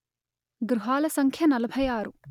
గృహాల సంఖ్య నలభై ఆరు